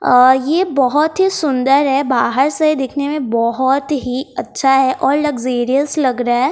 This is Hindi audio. अ ये बोहोत ही सुंदर है बाहर से दिखने में बोहोत ही अच्छा है और लग्जेरियस लग रहे --